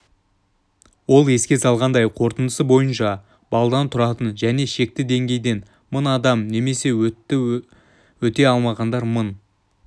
ол еске салғандай қорытындысы бойынша балдан тұратын шекті деңгейден мың адам немесе өтті өте алмағандар мың